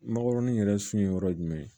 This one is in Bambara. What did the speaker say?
Mangokɔrɔni yɛrɛ su ye yɔrɔ ye jumɛn ye